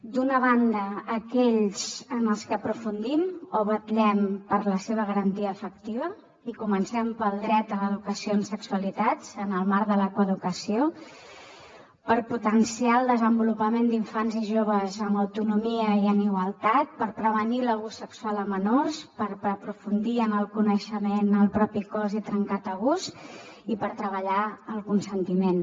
d’una banda aquells en què aprofundim o vetllem per la seva garantia efectiva i comencem pel dret a l’educació en sexualitats en el marc de la coeducació per potenciar el desenvolupament d’infants i joves amb autonomia i en igualtat per prevenir l’abús sexual a menors per aprofundir en el coneixement del propi cos i trencar tabús i per treballar el consentiment